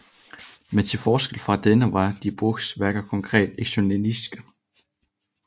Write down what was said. Men til forskel fra denne var Die Brückes værker konkret ekspressionistiske